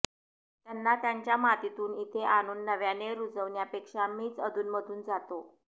त्यांना त्यांच्या मातीतून इथे आणून नव्याने रुजवण्यापेक्षा मीच अधूनमधून जातो